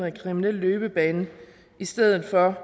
en kriminel løbebane i stedet for